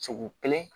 Sugu kelen